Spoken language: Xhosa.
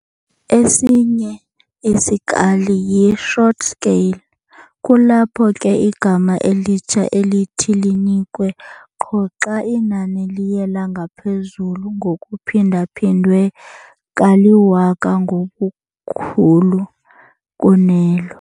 Esinye isikali yi-"short scale" kulapho ke igama elitsha elithi linikwe qho xa inani liye langaphezulu ngokuphindwa-phindwe kaliwaka ngobukhulu kunelo.